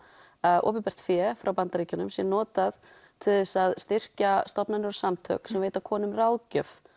að opinbert fé frá Bandaríkjunum sé notað til þess að styrkja stofnanir og samtök sem veita konum ráðgjöf